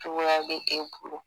Cogoya be e bolo